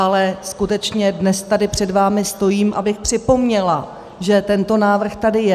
Ale skutečně dnes tady před vámi stojím, abych připomněla, že tento návrh tady je.